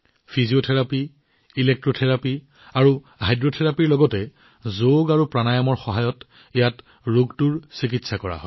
physiotherapy electrotherapy আৰু হাইড্ৰথেৰাপীৰ লগতে ইয়াত যোগপ্ৰাণায়ামৰ সহায়ত ৰোগৰ চিকিৎসা কৰা হয়